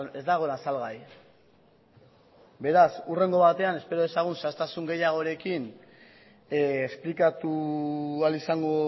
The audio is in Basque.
ez dagoela salgai beraz hurrengo batean espero dezagun zehaztasun gehiagorekin esplikatu ahal izango